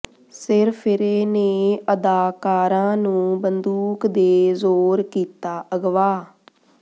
ਸਿਰਫਿਰੇ ਨੇ ਅਦਾਕਾਰਾ ਨੂੰ ਬੰਦੂਕ ਦੇ ਜ਼ੋਰ ਕੀਤਾ ਅਗਵਾ